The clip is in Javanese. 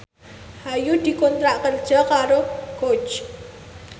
Ayu dikontrak kerja karo Coach